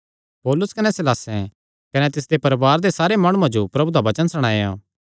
पौलुस कने सीलासें तिसियो कने तिसदे परवारे दे सारे माणुआं जो प्रभु दा वचन सणाया